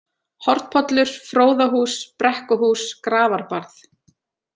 Hornpollur, Fróðahús, Brekkuhús, Grafarbarð